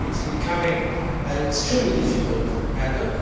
In fact, it is becoming an extremely difficult matter.